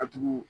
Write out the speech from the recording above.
A tugu